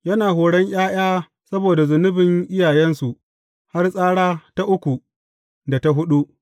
Yana horin ’ya’ya saboda zunubin iyayensu har tsara ta uku, da ta huɗu.’